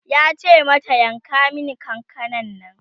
yace mata mata "yanka min kakanan Nan!''